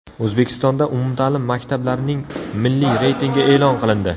O‘zbekistonda umumta’lim maktablarning milliy reytingi e’lon qilindi.